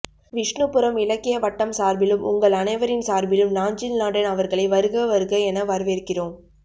விஷ்ணுபுரம் இலக்கிய வட்டம் சார்பிலும் உங்கள் அனைவரின் சார்பிலும் நாஞ்சில் நாடன் அவர்களை வருக வருக என வரவேற்கிறோம்